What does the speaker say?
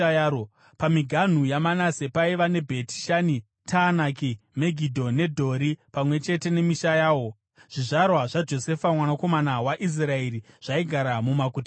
Pamiganhu yaManase paiva neBheti Shani, Taanaki, Megidho neDhori pamwe chete nemisha yawo. Zvizvarwa zvaJosefa mwanakomana waIsraeri zvaigara mumaguta aya.